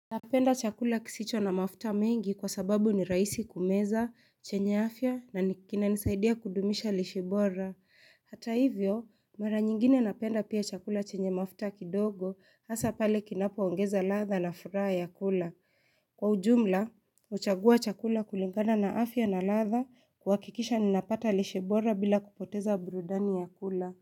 Napenda chakula kisicho na mafuta mengi kwa sababu ni rahisi kumeza, chenye afya na kinanisaidia kudumisha lishe bora. Hata hivyo, mara nyingine napenda pia chakula chenye mafuta kidogo hasa pale kinapoongeza ladha na furaha ya kula. Kwa ujumla, huchagua chakula kulingana na afya na ladha kuhakikisha ninapata lishe bora bila kupoteza burudani ya kula.